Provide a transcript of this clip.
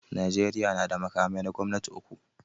Najeriya na da makamai na gwamnati uku.